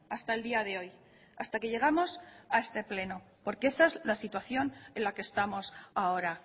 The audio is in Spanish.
hasta el día de hoy hasta que llegamos a este pleno porque esa es la situación en la que estamos ahora